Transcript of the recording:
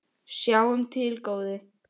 Sjáum til, góði.